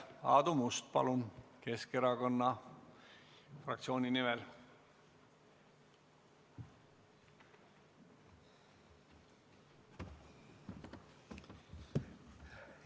Aadu Must, palun Keskerakonna fraktsiooni nimel!